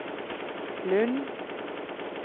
Lund